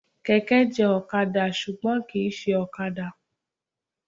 Kẹ̀kẹ́ jọ ọ̀kadà ṣùgbọ́n kìí ṣe ọ̀kadà.